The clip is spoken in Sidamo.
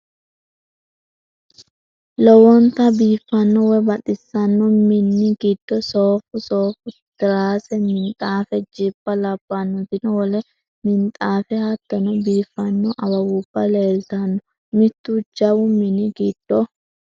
lowonta biifanno woyi baxisanno minni giddo soofu, soofu tirade, minxaafe, jibba labannotino wole minxaafe hattono biifano awawuba leelitanno mittu jawu minni giddo.